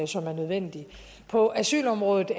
som er nødvendig på asylområdet